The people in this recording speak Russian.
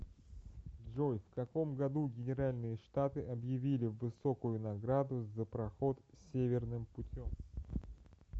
джой в каком году генеральные штаты объявили высокую награду за проход северным путем